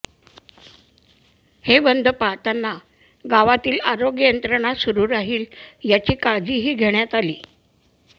हे बंद पाळताना गावातील आरोग्य यंत्रणा सुरू राहील याची काळजीही घेण्यात आली